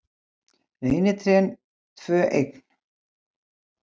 Reynitrén tvö eign